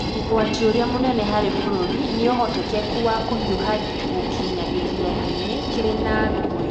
Ũgwati ũrĩa mũnene harĩ bũrũri nĩ ũhotekeku wa kũhiũha gũkinya gĩthurano-inĩ kĩrĩ na ngũĩ.